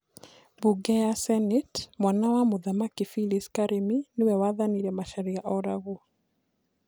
Mbunge ya Senate: Mwana wa mũthamaki Philis karĩmi nĩ we wathanire macharia oragwo